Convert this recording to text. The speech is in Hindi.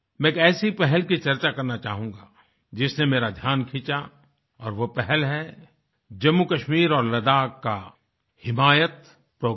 मैं एक ऐसे पहल की चर्चा करना चाहूँगा जिसने मेरा ध्यान खींचा और वो पहल है जम्मूकश्मीर और लद्दाख का हिमायत प्रोग्राम